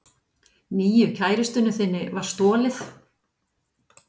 Nýju kærustunni þinni var stolið.